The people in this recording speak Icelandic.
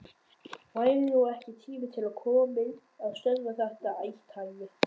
Væri nú ekki tími til kominn að stöðva þetta athæfi?